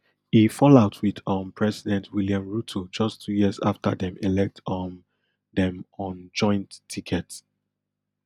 e fall out wit um president william ruto just two years afta dem elect um dem on joint ticket